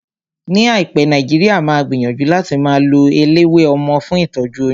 Ní àìpé, Nàìjíríà máa gbìyànjú láti máa lo eléwé ọmọ fún ìtọ́jú oyún